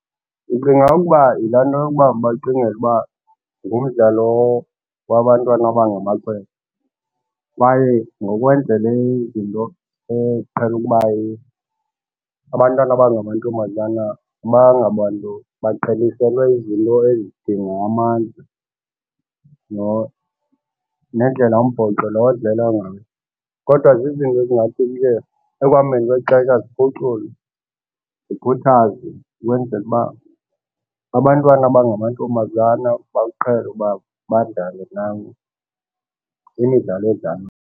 Ndicinga ukuba yila nto yokuba bacingele uba ngumdlalo wabantwana aba ngamakhwenkwe kwaye ngokwendlela izinto eqhele ukuba abantwana aba ngamantombazana abangobantu abaqhelisekwe izinto ezidinga amandla nendlela umbhoxo lo odlalwa ngayo. Kodwa zizinto ezingathi ke ekuhambeni kwexesha ziphuculwe zikhuthazwe ukwenzela uba abantwana abangamantombazana bawuqhele ukuba badlale nabo kwimidlalo edlalwayo.